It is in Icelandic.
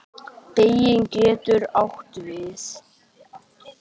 Beyging getur átt við